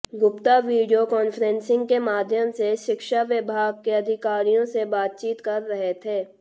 Gupta video conferencing के माध्यम से शिक्षा विभाग के अधिकारियों से बातचीत कर रहे थे